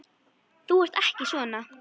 Þú ert ekki svona.